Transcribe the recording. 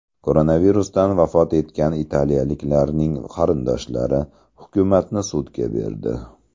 Koronavirusdan vafot etgan italiyaliklarning qarindoshlari hukumatni sudga berdi.